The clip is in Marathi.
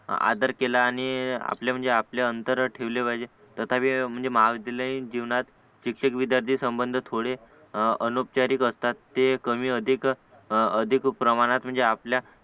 आदर केला आणि आपले म्हणजे आपले अंतर ठेवले पाहिजे तसाभि महाविद्यालयीन जीवनात शिक्षक विद्यार्थी संबंध थोडे अलोपचारिक असतात ते कमी अधिक अधिक प्रमाणात म्हणजे आपल्या